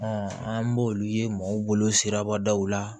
an b'olu ye mɔgɔw bolo sirabadaw la